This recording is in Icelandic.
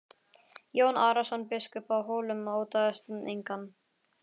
Jón Arason biskup á Hólum óttaðist engan.